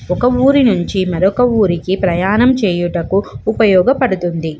ఒక ఊరి నుంచి మరొక ఊరికి ప్రయాణం చేయుటకు ఉపయోగపడుతుంది.